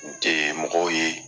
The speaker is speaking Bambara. mɔgɔw ye.